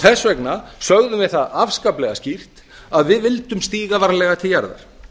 þess vegna sögðum við það afskaplega skýrt að við vildum stíga varlega til jarðar